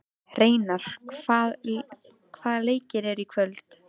Reynar, hvaða leikir eru í kvöld?